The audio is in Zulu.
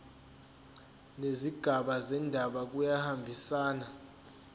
nezigaba zendaba kuyahambisana